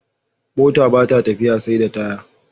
Mota bata tafiya seda taya